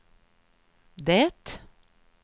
det